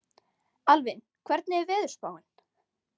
Alvin, hvernig er veðurspáin?